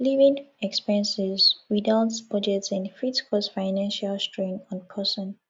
living expenses without budgeting fit cause financial strain on person